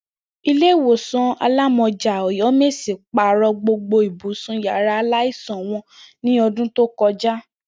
Ilé ìwòsàn alámó̩jà Ò̩yó̩mèsì pàrò̩ gbogbo ibùsùn yàrá aláìsàn wo̩n ní o̩dún tí ó ko̩já